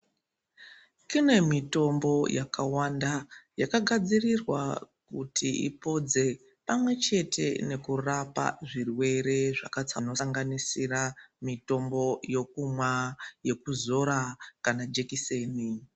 Kune mitombo yakawanda yakagadzirirwa kuti ipodze pamwechete nekurapa zvirwere zvakasanganisira mitombo yokumwa, yokuzora kana jekiseni.